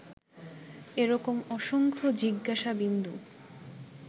এ রকম অসংখ্য জিজ্ঞাসাবিন্দু